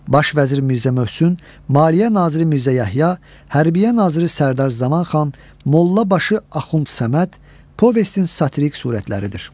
Baş vəzir Mirzə Möhsün, maliyyə naziri Mirzə Yəhya, hərbiyyə naziri Sərdər Zamanxan, molla başı Axund Səməd povestin satirik surətləridir.